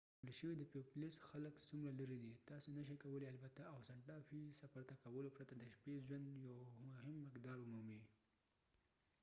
ورکړل شوی د پيويبلوس خلک څومره لرې دي تاسو نشئ کولی البته او سانټا فی ته سفر کولو پرته د شپې ژوند یو مهم مقدار ومومئ